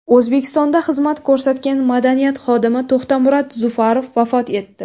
O‘zbekistonda xizmat ko‘rsatgan madaniyat xodimi To‘xtamurod Zufarov vafot etdi.